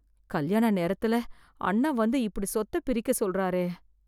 கல்யாண நேரத்துல அண்ண வந்து இப்படி சொத்த பிரிக்க சொல்றாரே.